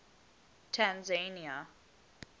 tanzania